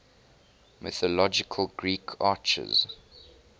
mythological greek archers